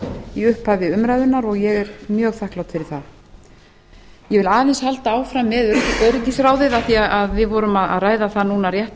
í upphafi umræðunnar og ég er mjög þakklát fyrir það ég vil aðeins halda áfram með öryggisráðið af því að við vorum að ræða það núna rétt